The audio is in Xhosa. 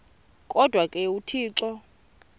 kodwa ke uthixo